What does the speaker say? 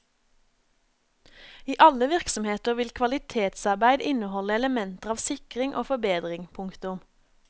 I alle virksomheter vil kvalitetsarbeid inneholde elementer av sikring og forbedring. punktum